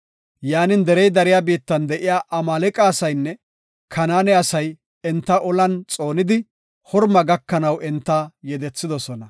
Yaanin derey dariya biittan de7iya Amaaleqa asaynne Kanaane asay enta ollan xoonidi, Horma gakanaw enta yedethidosona.